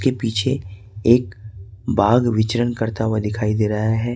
के पीछे एक बाघ विचरन करता हुआ दिखाई दे रहा है।